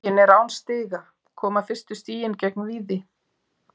Huginn er án stiga, koma fyrstu stigin gegn Víði?